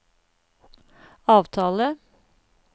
avtale